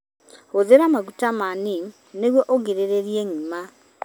Hũthĩra maguta ma neem nĩguo ũgirĩrĩrie ng'ima.